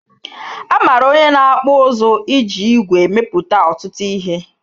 Amara onye na-akpụ ụzụ iji ìgwè emepụta ọtụtụ ihe